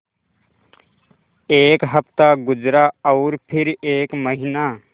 एक हफ़्ता गुज़रा और फिर एक महीना